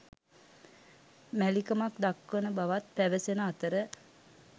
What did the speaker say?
මැලිකමක් දක්වන බවත් පැවසෙන අතර